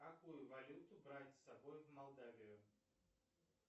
какую валюту брать с собой в молдавию